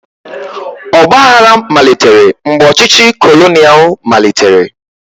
Ọgbaaghara malitere mgbe ọchịchị kolonial malitere.